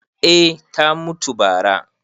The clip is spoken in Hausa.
eh ta mutu bara